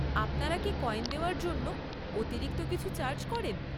আপনারা কি কয়েন দেওয়ার জন্য অতিরিক্ত কিছু চার্জ করেন?